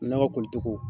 Nakɔli cogo